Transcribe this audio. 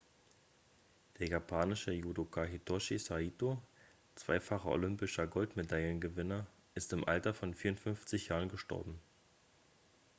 der japanische judoka hitoshi saito zweifacher olympischer goldmedaillengewinner ist im alter von 54 jahren gestorben